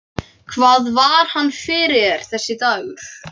Hvað var hann fyrir þér, þessi dagur.